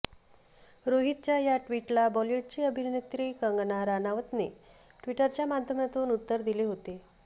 रोहितच्या या ट्विटला बॉलीवूडची अभिनेत्री कंगना राणौतने ट्विटरच्या माध्यमातून उत्तर दिले होते